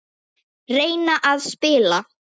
Reyna að spila!